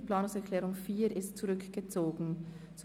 Die Planungserklärung 4 ist somit zurückgezogen worden.